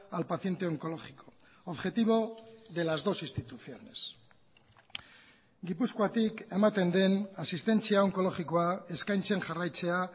al paciente oncológico objetivo de las dos instituciones gipuzkoatik ematen den asistentzia onkologikoa eskaintzen jarraitzea